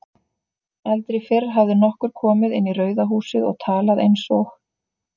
Aldrei fyrr hafði nokkur komið inn í Rauða húsið og talað einsog